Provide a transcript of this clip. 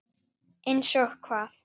Einsog hvað?